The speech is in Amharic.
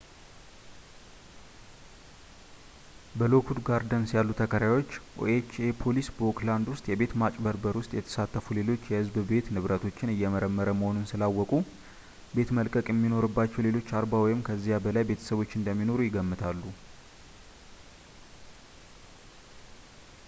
በሎክዉድ ጋርደንስ ያሉ ተከራዮች ኦኤችኤ ፖሊስ በኦክላድ ውስጥ የቤት ማጭበርበር ውስጥ የተሳተፉ ሌሎች የህዝብ ቤት ንብረቶችን እየመረመረ መሆኑን ስላወቁ ቤት መልቀቅ የሚኖርባቸው ሌሎች 40 ወይም ከዚያ በላይ ቤተሰቦች እንደሚኖሩ ይገምታሉ